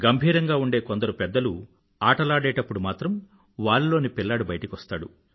గంభీరంగా ఉండే కొందరు పెద్దలు ఆటలాడేటప్పుడు మాత్రం వారిలోని పిల్లాడు బయటకు వస్తాడు